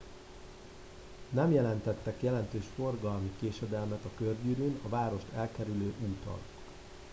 nem jelentettek jelentős forgalmi késedelmet a körgyűrűn a várost elkerülő úton